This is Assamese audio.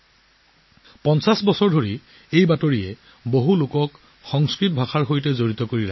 ৫০ বছৰ ধৰি এই বুলেটিনে বহু লোকক সংস্কৃতৰ সৈতে জড়িত কৰি ৰাখিছে